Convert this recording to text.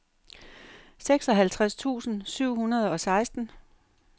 seksoghalvtreds tusind syv hundrede og seksten